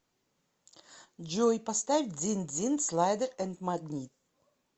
джой поставь дзин дзин слайдер энд магнит